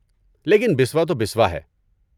لیکن بسوا تو بسوا ہے۔